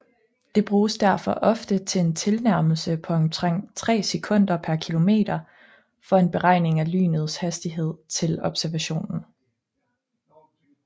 Det bruges derfor ofte en tilnærmelse på omtrent tre sekunder per kilometer for en beregning af lynets afstand til observationen